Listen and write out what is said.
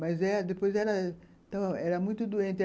Mas eh depois ela... Era muito doente.